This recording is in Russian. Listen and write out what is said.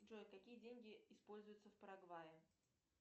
джой какие деньги используются в парагвае